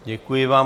Děkuji vám.